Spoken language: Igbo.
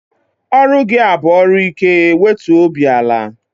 Ọrụ gị a bụ ọrụ ike, wetuo obi ala!